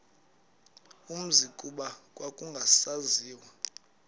umzi kuba kwakungasaziwa